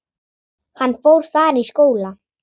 Hann fór þar í skóla.